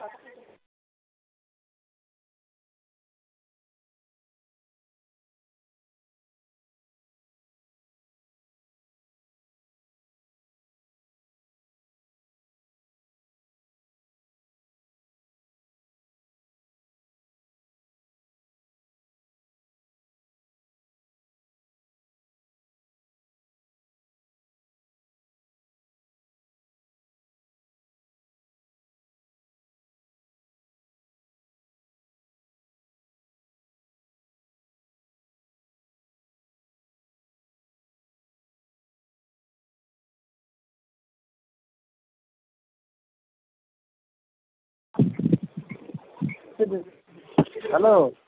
Hello